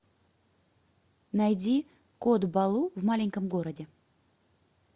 найди кот балу в маленьком городе